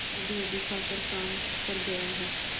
अभीअभी खाकर काम पर गया है